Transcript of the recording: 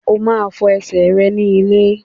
O máa fọ ẹsẹ̀ rẹ ní ilé.